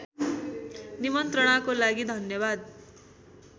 निमन्त्रणाको लागि धन्यवाद